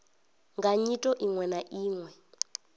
nga nyito iwe na iwe